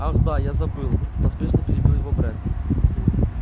ах да я забыл поспешно перебил его брент